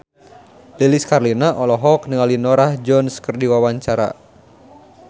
Lilis Karlina olohok ningali Norah Jones keur diwawancara